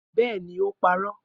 Bẹẹni, o parọ.